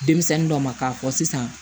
Denmisɛnnin dɔ ma k'a fɔ sisan